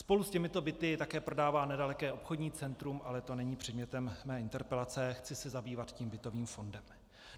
Spolu s těmito byty také prodává nedaleké obchodní centrum, ale to není předmětem mé interpelace, chci se zabývat tím bytovým fondem.